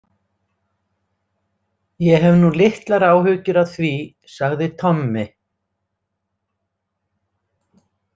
Ég hef nú litlar áhyggjur af því, sagði Tommi.